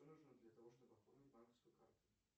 что нужно для того чтобы оформить банковскую карту